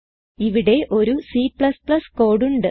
ഇവിടെ ഒരു C code ഉണ്ട്